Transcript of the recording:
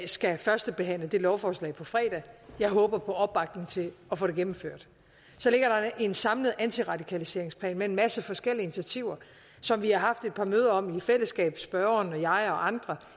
skal førstebehandle det lovforslag på fredag jeg håber på opbakning til at få det gennemført så ligger der en samlet antiradikaliseringsplan med en masse forskellige initiativer som vi har haft et par møder om i fællesskab spørgeren og jeg og andre